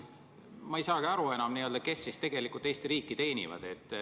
Ma ei saagi enam aru, kes tegelikult Eesti riiki teenivad.